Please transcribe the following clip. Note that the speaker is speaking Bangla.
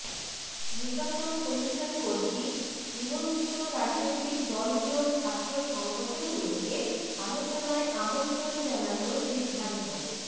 নির্বাচন কমিশন কর্তৃক নিবন্ধিত রাজনৈতিক দলগুলোর ছাত্র সংগঠনগুলোকে আলোচনায় আমন্ত্রণ জানানোর সিদ্ধান্ত